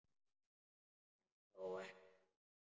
En þó ekki þannig.